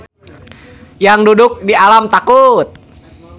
Yangduduk di alam takut.